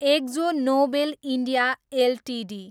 exo Nobel India Ltd